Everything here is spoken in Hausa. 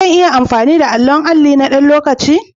Zan iya amfani da allon alli na ɗan lokaci?